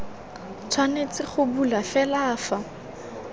tshwanetse go bulwa fela fa